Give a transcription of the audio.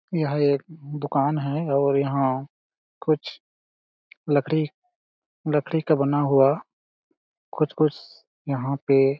यह एक दुकान है और यहाँ कुछ लकड़ी लकड़ी का बना हुआ कुछ-कुछ यहाँ पे --